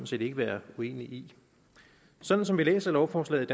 set ikke være uenig i sådan som vi læser lovforslaget